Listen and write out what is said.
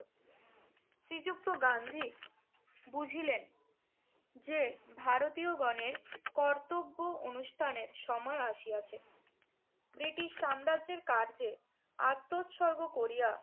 শ্রীযুক্ত গান্ধী বুঝিলেন যে, ভারতীয়গণের কর্তব্য অনুষ্ঠানের সময় আসিয়াছে। ব্রিটিশ সাম্রাজ্যের কার্যে আত্মোৎসর্গ করিয়া